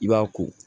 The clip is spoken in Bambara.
I b'a ko